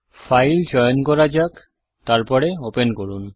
file চয়ন করা যাক তারপরে ওপেন করুন